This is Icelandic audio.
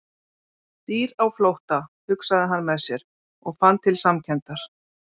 Dýr á flótta, hugsaði hann með sér, og fann til samkenndar.